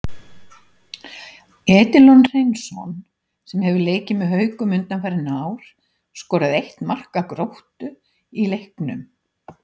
Edilon Hreinsson, sem hefur leikið með Haukum undanfarin ár, skoraði eitt marka Gróttu í leiknum.